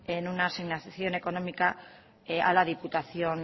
en una asignación económica a la diputación